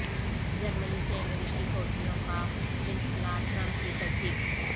جرمنی سے امریکی فوجیوں کا انخلاء ٹرمپ کی تصدیق